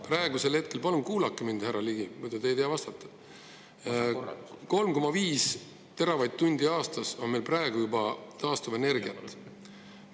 Praegu on meil – palun kuulake mind, härra Ligi, muidu te ei tea vastata – 3,5 teravatt-tundi aastas juba taastuvenergiat olemas.